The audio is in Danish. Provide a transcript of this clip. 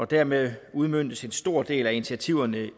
dermed udmøntes en stor del af initiativerne i